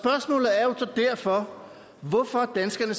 derfor hvorfor danskerne